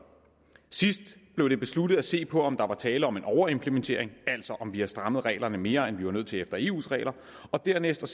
sidst blev det besluttet at se på om der var tale om en overimplementering altså om vi havde strammet reglerne mere end vi var nødt til efter eus regler og dernæst